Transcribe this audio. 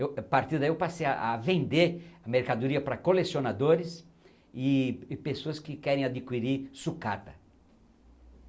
Eu a partir daí eu passei ah a vender mercadoria para colecionadores e e pessoas que querem adquirir sucata.